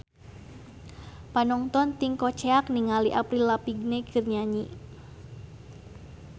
Panongton ting koceak ninggali Avril Lavigne keur nyanyi